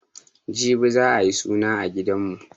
Jibi za'a yi suna a gidanmu.